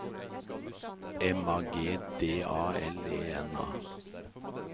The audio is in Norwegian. M A G D A L E N A